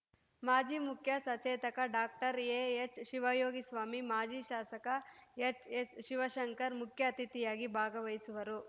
ಮಾಜಿ ಮುಖ್ಯ ಸಚೇತಕ ಡಾಕ್ಟರ್ ಎಎಚ್‌ಶಿವಯೋಗಿಸ್ವಾಮಿ ಮಾಜಿ ಶಾಸಕ ಎಚ್‌ಎಸ್‌ಶಿವಶಂಕರ್‌ ಮುಖ್ಯ ಅತಿಥಿಯಾಗಿ ಭಾಗವಹಿಸುವರು